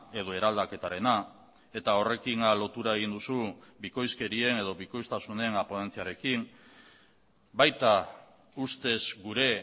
edo eraldaketarena eta horrekin lotura egin duzu bikoizkerien edo bikoiztasunen ponentziarekin baita ustez gure